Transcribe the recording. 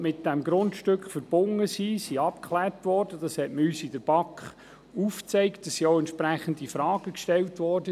Wie uns in der BaK aufgezeigt wurde, wurden die Risiken, welche mit dem Grundstück verbunden sind, abgeklärt.